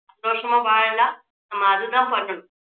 சந்தோஷமா வாழலாம் நம்ம அது தான் பண்ணணும்